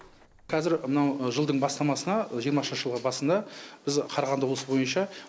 кәзір мынау жылдың бастамасына жиырмасыншы жылғы басында біз қарағанды облысы бойынша